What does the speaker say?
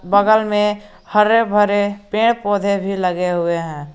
बगल में हरे भरे पेड़ पौधे भी लगे हुए हैं।